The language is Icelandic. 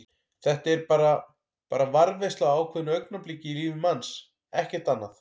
Þetta er bara. bara varðveisla á ákveðnu augnabliki í lífi manns, ekkert annað.